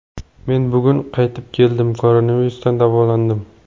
Men bugun qaytib keldim, koronavirusdan davolandim.